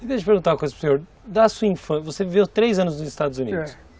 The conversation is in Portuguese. Deixa eu perguntar uma coisa para o senhor, da sua infância, você viveu três anos nos Estados Unidos? É.